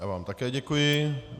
Já vám také děkuji.